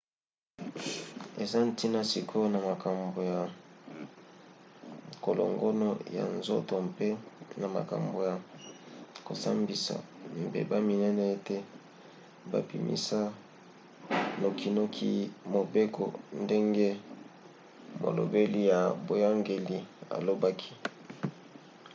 eza ntina sikoyo na makambo ya kolongono ya nzoto mpe na makambo ya kosambisa mbeba minene ete babimisa nokinoki mobeko ndenge molobeli ya boyangeli alobaki